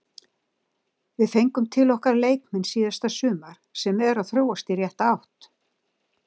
Við fengum til okkar leikmenn síðasta sumar sem eru að þróast í rétta átt.